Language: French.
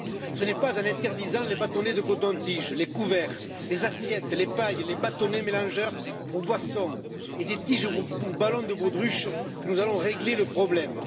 Ce n'est pas en interdisant les bâtonnets de coton tige, les couverts, les assiettes, les pailles et les bâtonnets mélangeurs pour boissons et les tiges pour ballons de baudruche que nous allons régler le problème.